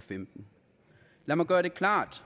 femten lad mig gøre det klart